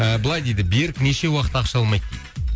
ыыы былай дейді берік неше уақыт ақша алмайды дейді